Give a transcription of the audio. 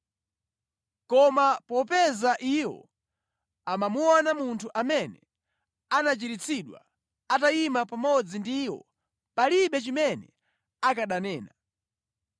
Koma popeza iwo amamuona munthu amene anachiritsidwa atayima pamodzi ndi iwo, palibe chimene akananena.